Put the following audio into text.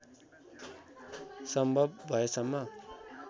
सम्भव भएसम्म